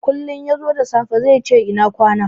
Kullin yazo da safe zaice ina kwana.